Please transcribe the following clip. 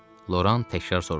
Loran təkrar soruşdu.